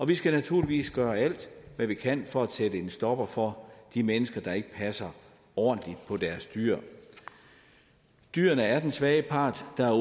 vi skal naturligvis gøre alt hvad vi kan for at sætte en stopper for de mennesker der ikke passer ordentligt på deres dyr dyrene er den svage part der